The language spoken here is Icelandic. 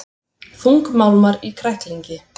Þungmálmar í kræklingi